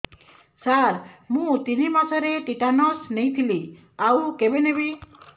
ସାର ମୁ ତିନି ମାସରେ ଟିଟାନସ ନେଇଥିଲି ଆଉ କେବେ ନେବି